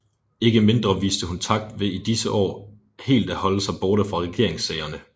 Ikke mindre viste hun takt ved i disse år helt at holde sig borte fra regeringssagerne